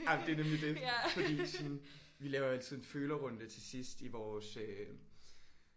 Ja det er nemlig det fordi sådan vi laver altid en føler runde til sidst i vores øh